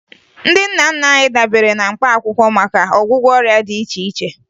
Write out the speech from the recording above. Ndị nna nna anyị dabere na mkpaakwụkwọ maka ọgwụgwọ ọrịa dị iche iche